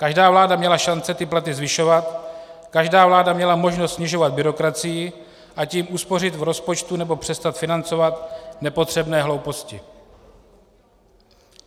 Každá vláda měla šance ty platy zvyšovat, každá vláda měla možnost snižovat byrokracii, a tím uspořit v rozpočtu nebo přestat financovat nepotřebné hlouposti.